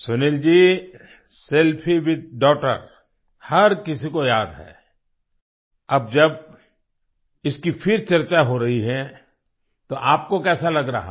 Sunil ji selfie with daughter हर किसी को याद हैअब जब इसकी फिर चर्चा हो रही है तो आपको कैसा लग रहा है